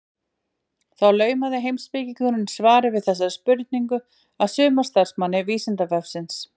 Þá laumaði heimspekingurinn svari við þessari spurningu að sumarstarfsmanni Vísindavefsins.